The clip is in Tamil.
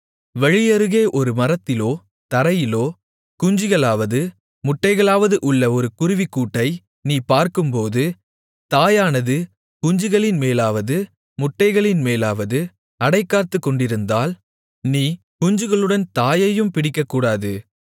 வழியருகே ஒரு மரத்திலோ தரையிலோ குஞ்சுகளாவது முட்டைகளாவது உள்ள ஒரு குருவிக்கூட்டை நீ பார்க்கும்போது தாயானது குஞ்சுகளின் மேலாவது முட்டைகளின் மேலாவது அடைகாத்துக்கொண்டிருந்தால் நீ குஞ்சுகளுடன் தாயையும் பிடிக்கக்கூடாது